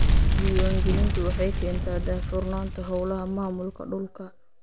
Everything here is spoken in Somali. Diiwaangelintu waxay keentaa daahfurnaanta hawlaha maamulka dhulka.